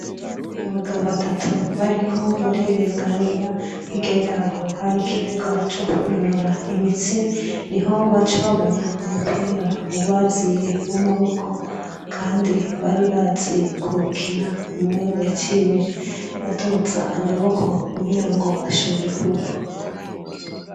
Nabagabo batatu bariko batirenganira hirya yaho hari ikibuga co kwinonora imitsi niho babona umupira ubaziye wamaboko kandi bari bazi kuwukina umwe yaciye aduza amaboko kugira bashobora kuwukubita.